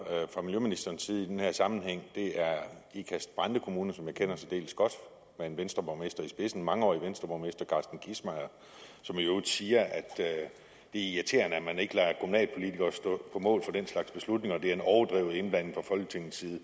fra miljøministerens side i den her sammenhæng det er ikast brande kommune som jeg kender særdeles godt med en venstreborgmester i spidsen en mangeårig venstreborgmester carsten kissmeyer som i øvrigt siger at det er irriterende at man ikke lader kommunalpolitikere stå på mål for den slags beslutninger og at det er en overdrevet indblanding fra folketingets side